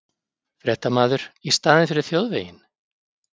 Fréttamaður: Í staðinn fyrir þjóðveginn?